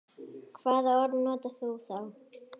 Hvaða orð notar þú þá?